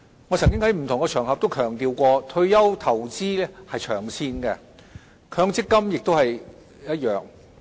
我曾經在不同場合強調，退休投資是長線的，強積金亦然。